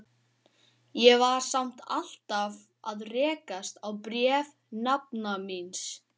Ég var samt alltaf að rekast á bréf nafna míns.